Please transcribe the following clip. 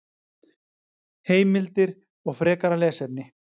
Heimildir og frekara lesefni: